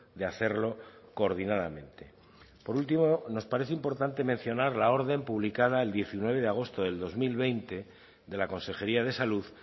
de hacerlo coordinadamente por último nos parece importante mencionar la orden publicada el diecinueve de agosto del dos mil veinte de la consejería de salud